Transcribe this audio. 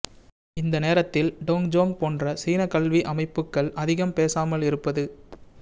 இந்த நேரத்தில் Dong Zong போன்ற சீனக் கல்வி அமைப்புக்கள் அதிகம் பேசாமல் இருப்பது